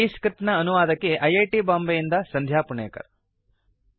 ಈ ಸ್ಕ್ರಿಪ್ಟ್ ನ ಅನುವಾದಕಿ ಐ ಐ ಟಿ ಬಾಂಬೆಯಿಂದ ಸಂಧ್ಯಾ ಪುಣೇಕರ್